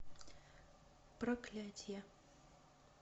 проклятие